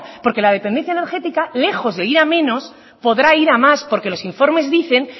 porque la dependencia energética lejos de ir a menos podrá ir a más porque los informes dicen